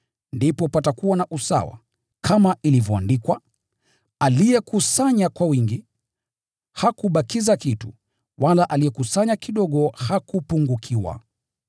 Ndipo patakuwa na usawa, kama ilivyoandikwa: “Aliyekusanya zaidi hakuwa na ziada, wala aliyekusanya kidogo hakupungukiwa.”